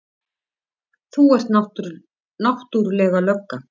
Þú ert náttúrlega lögga.